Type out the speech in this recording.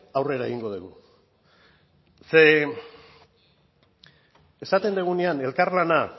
aurrera egingo dugu ze esaten dugunean elkarlana